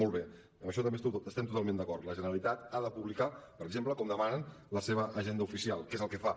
molt bé en això també estem totalment d’acord la generalitat ha de publicar per exemple com demanen la seva agenda oficial que és el que fa